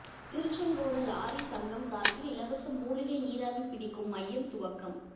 Tiruchengode lorry சங்கம் சார்பில் இலவச மூலிகை நீராவி பிடிக்கும் மையம் துவக்கம்